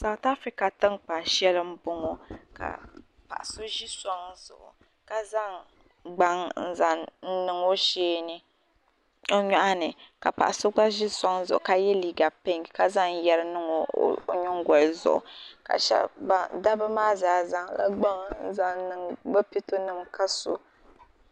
Saaf afirika tinkpan shɛli n bɔŋɔ ka paɣa so ʒi sɔŋ zuɣu ka zaŋ gbaŋ n zaŋ niŋ o shee ni o nyɔɣu ni ka paɣa so gba ʒi sɔŋ zuɣu ka yɛ liiga pink ka zaŋ yari niŋ o nyingoli zuɣu dabba maa zaa zaŋ la gbaŋ n zaŋ niŋ bi pɛto nima ka so.